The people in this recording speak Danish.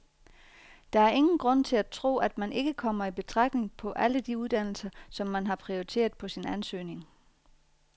Der er ingen grund til at tro, at man ikke kommer i betragtning på alle de uddannelser, som man har prioriteret på sin ansøgning.